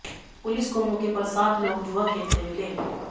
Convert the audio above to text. police को मौके पर सात लोग जुआ खेलते मिले